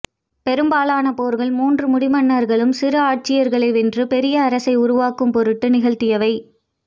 பெரும்பாலான போர்கள் மூன்று முடிமன்னர்களும் சிறு ஆட்சியாளர்களை வென்று பெரிய அரசை உருவாக்கும் பொருட்டு நிகழ்த்தியவை